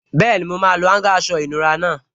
Bẹ́ẹ̀ni, mo máa lo áúngà aṣọ ìnura náà